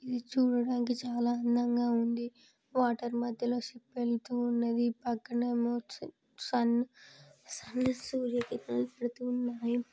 ఇది చూడడానికి చాలా అందంగా ఉంది వాటర్ మధ్యలో షిప్ వెల్తువునది పక్కనేమో సన్